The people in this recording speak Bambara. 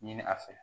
Ɲini a fɛ